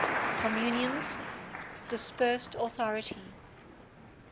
communion's dispersed authority